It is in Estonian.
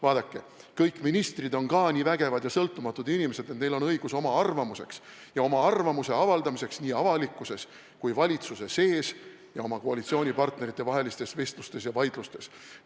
Vaadake, kõik ministrid on ka nii vägevad ja sõltumatud inimesed, et neil on õigus oma arvamuseks ja oma arvamuse avaldamiseks nii avalikkuses kui valitsuse sees, seda ka oma koalitsioonipartnerite vahelistes vestlustes ja vaidlustes.